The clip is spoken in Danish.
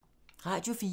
Radio 4